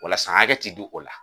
Wala san hakɛ te di o la.